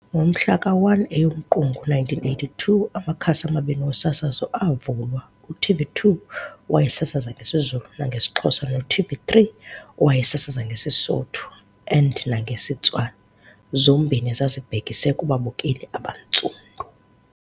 Ngomhla ka 1 EyoMqungu 1982, amakhasi amabini wosasazo avulwa, u-TV2 owayesasaza ngesiZulu nangesiXhosa no TV3 owayesasaza ngesiSotho and nangesiTswana, zombini zazibhekise kubabukeli abantsundu.